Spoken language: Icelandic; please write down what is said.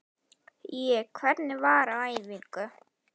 Ég: Hvernig var á æfingu?